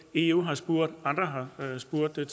eu har spurgt og andre har spurgt til